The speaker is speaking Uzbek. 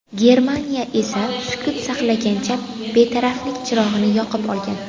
Germaniya esa sukut saqlagancha betaraflik chirog‘ini yoqib olgan.